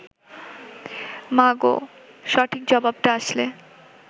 মাগো, সঠিক জবাবটা আসলে